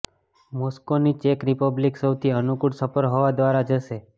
મોસ્કોની ચેક રિપબ્લિક સૌથી અનુકૂળ સફર હવા દ્વારા હશે